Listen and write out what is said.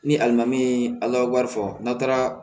Ni alimami a wari fɔ n'a taara